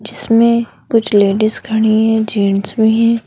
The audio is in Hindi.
इसमें कुछ लेडिस खड़ी है जेंट्स भी है।